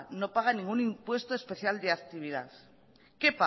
no paga ningún impuesto especial de actividad qué